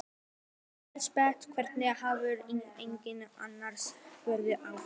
Elísabet: Hvernig hefur helgin annars farið fram?